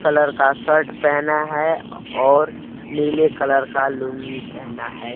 Colour का shirt पेहना हैं और नीले कलर का लूंगी पेहना हैं।